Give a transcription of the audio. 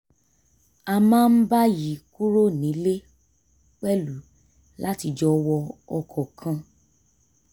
a máa ń báyìí kúrò nílé pẹ̀lú láti jọ wọ ọkọ̀ kan